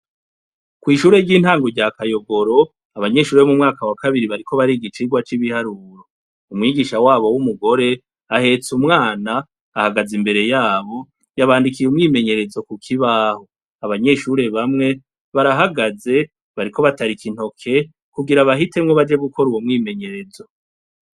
Kw'ishure ry'intangu rya akayogoro abanyeshure b'mu mwaka wa kabiri bariko bari igicirwa c'ibiharuro umwigisha wabo w'umugore ahetse umwana ahagaze imbere yabo yabandikiye umwimenyerezo ku kibaho abanyeshure bamwe barahagaze bariko batarika intoke kugira bahitemwo baje gukora uwo mwimenye yerezo.